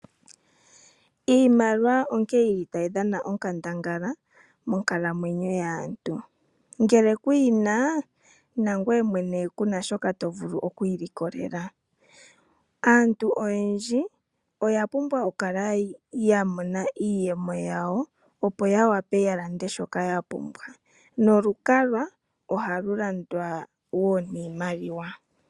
Iimaliwa onkene tayi dhana onkandangala monkalamwenyo yaantu. Ngele ku yi na ku na shoka to vulu oku ilikolela. Aantu oyendji oya pumbwa okukala ya mona iiyemo yawo, opo ya lande shoka ya pumbwa nolukalwa ohalu landwa wo niimaliwa.